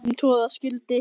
um troða skyldi